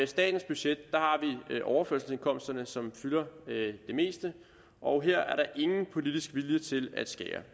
statens budget har vi overførselsindkomsterne som fylder det meste og her er der ingen politisk vilje til at skære